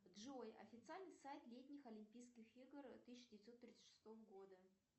джой официальный сайт летних олимпийских игр тысяча девятьсот тридцать шестого года